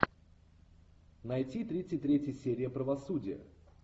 найти тридцать третья серия правосудие